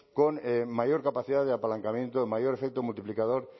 con mayor capacidad de apalancamiento mayor efecto multiplicador